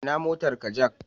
Ina motarka Jack